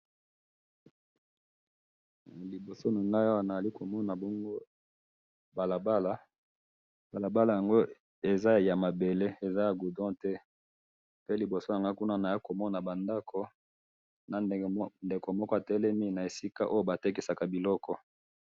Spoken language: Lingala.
Na liboso na nga awa nazali komona balabala ya mabele, eza ya goudron te na liboso nango na moni ba ndako na ndeko moko atelemi esika batekisaka biloko